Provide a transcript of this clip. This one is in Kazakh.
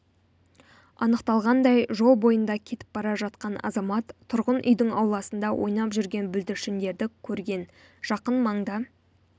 анықталғандай жол бойында кетіп бара жатқан азамат тұрғын үйдің ауласында ойнап жүрген бүлдіршіндерді көрген жақын маңда